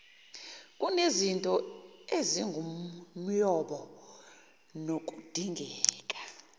kunezinto ezingumyombo nokudingeka